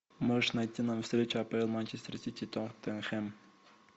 можешь найти нам встречу апл манчестер сити тоттенхэм